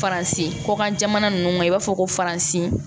Faransi kɔkan jamana ninnu na i b'a fɔ ko faransi